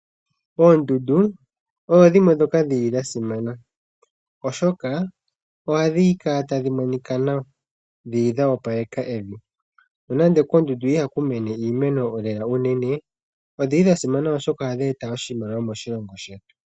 Oondundu odho dhimwe ndhoka dhi li dhasimana , oshoka ohadhi kala tadhi monika nawa , dho odho opaleka evi. Nonando koondundu ihaku mene iimeno lela unene, odhili dhasimana oshoka ohadhi eta iimaliwa moshilongo shetu.